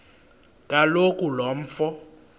kaloku lo mfo